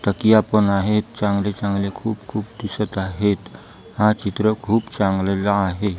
तकीया पण आहे चांगले चांगले खूप खूप दिसत आहेत हा चित्र खूप चांगला आहे.